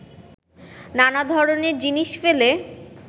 নানা ধরনের জিনিস ফেলে